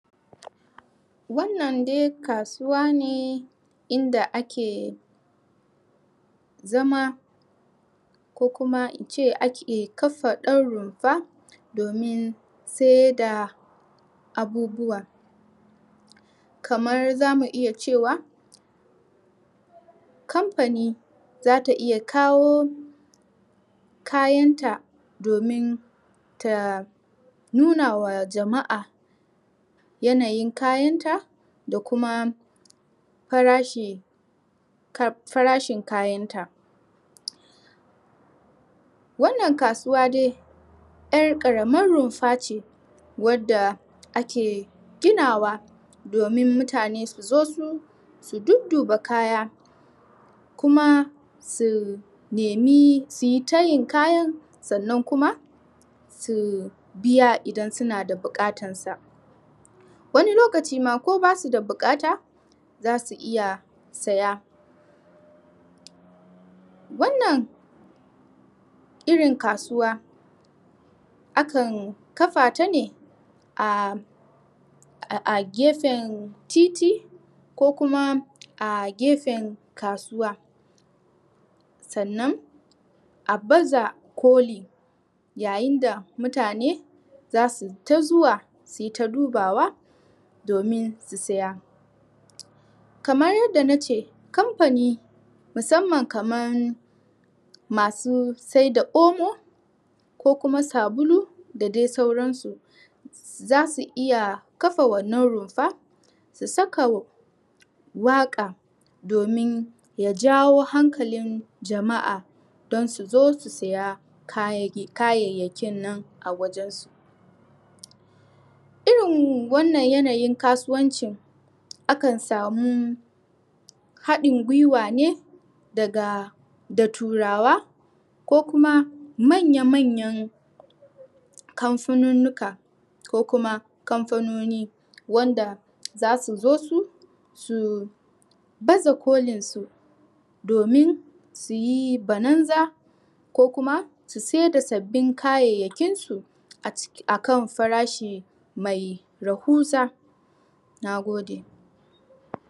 Wannan dai kasuwa ne... In da ake Zama Ko kuma in ce ake kafa ɗan rumfa Domin sai da Abubuwa Kamar zumu iya ce wa Kampani za ta iya kawo Kayan ta Domin Ta Nu na wa jama'a Yanayin kayan ta Da kuma Farashi Farashin kayan ta Wannan kasuwa dai 'yar ƙaramar rumfa ce Wadda ake ginawa Domin mutane su zo su... Su duduba kaya Kuma su nemi su yi ta yin kayan...sannan kuma Su biya idan suna da buƙatan sa Wani lokaci ma ko ba su da buƙata Za su iya saya Wannan Irin kasuwa Akan kafa ta ne A... A gefen titi Ko kuma a gefen kasuwa Sannan a baza koli Yayin da mutane zasu yi ta zuwa Suyi ta dubawa Domin su saya Kamar yadda nace...Kampani Musamman kaman Masu saida Omo Ko kuma sabulu da dai sauran su Za su iya kafa wannan rumfa Su saka Waka Domin ya jawo hankalin jama'a Don su zo su saya kayayyakin nan a wajen su Irin wannan yanayin kasuwancin Akan samu Haɗin gwiwa ne Daga Da turawa Ko kuma manya manyan Kamfununnuka Ko kuma kamfunoni wanda za su zo su Su baza kolin su Domin su yi bananza Ko kuma su saida sabbin kayayyakinsu Akan farashi mai rahuza. Nagode.